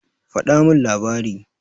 Faɗa min labari.